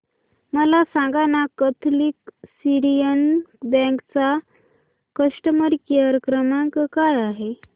मला सांगाना Catholic Syrian Bank चा कस्टमर केअर क्रमांक काय आहे